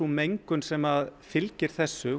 mengun sem fylgir þessu